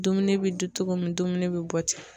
Dumuni bi dun togo min dumuni bi bɔ ten